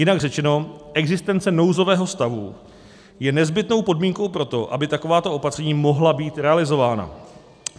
Jinak řečeno, existence nouzového stavu je nezbytnou podmínkou pro to, aby takováto opatření mohla být realizována.